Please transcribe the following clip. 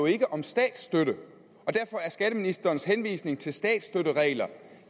ikke om statsstøtte og derfor er skatteministerens henvisning til statsstøtteregler